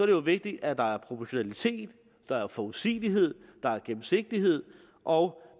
jo vigtigt at der er proportionalitet at der er forudsigelighed der er gennemsigtighed og